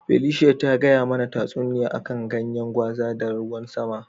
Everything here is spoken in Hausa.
Felicia ta gaya mana tasuniya a kan ganyen gwaza da ruwan sama.